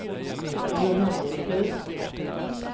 Johannishus